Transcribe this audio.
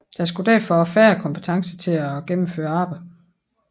Der skulle derfor færre kompetencer til at gennemføre arbejdet